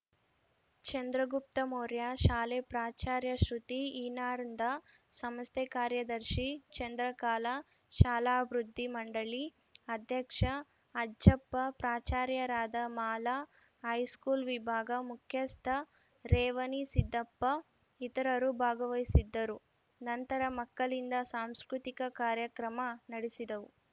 ಚಂದ್ರಗುಪ್ತ ಮೌರ್ಯ ಶಾಲೆ ಪ್ರಾಚಾರ್ಯ ಶೃತಿ ಇನಾಂರ್ದಾ ಸಂಸ್ಥೆ ಕಾರ್ಯದರ್ಶಿ ಚಂದ್ರಕಾಲಾ ಶಾಲಾಭಿವೃದ್ಧಿ ಮಂಡಳಿ ಅಧ್ಯಕ್ಷ ಅಜ್ಜಪ್ಪಪ್ರಾಚಾರ್ಯರಾದ ಮಾಲಾ ಹೈಸ್ಕೂಲ್‌ ವಿಭಾಗ ಮುಖ್ಯಸ್ಥ ರೇವಣಿಸಿದ್ದಪ್ಪ ಇತರರು ಭಾಗವಹಿಸಿದ್ದರು ನಂತರ ಮಕ್ಕಳಿಂದ ಸಾಂಸ್ಕೃತಿಕ ಕಾರ್ಯಕ್ರಮ ನಡೆಸಿದವು